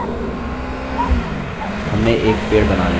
हमने एक पेड़ बना लिया है!